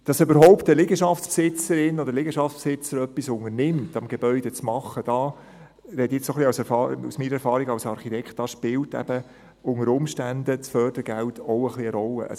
Dass überhaupt eine Liegenschaftsbesitzerin oder ein Liegenschaftsbesitzer etwas unternimmt und am Gebäude etwas macht – da spreche ich jetzt aus meiner Erfahrung als Architekt –, da spielt eben unter Umständen das Fördergeld auch ein wenig eine Rolle.